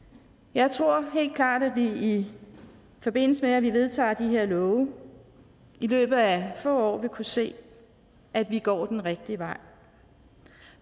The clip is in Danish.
jeg tror helt klart at vi i forbindelse med at vi vedtager de her love i løbet af få år vil kunne se at vi går den rigtige vej